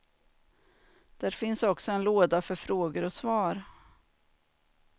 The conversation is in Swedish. Där finns också en låda för frågor och svar.